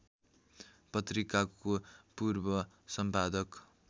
पत्रिकाको पूर्व सम्पादक